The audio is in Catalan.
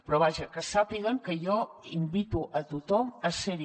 però vaja que sàpiguen que jo invito a tothom a ser hi